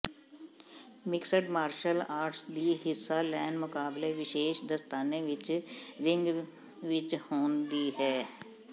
mixed martial arts ਦੀ ਹਿੱਸਾ ਲੈਣ ਮੁਕਾਬਲੇ ਵਿਸ਼ੇਸ਼ ਦਸਤਾਨੇ ਵਿਚ ਰਿੰਗ ਵਿੱਚ ਹੋਣ ਦੀ ਹੈ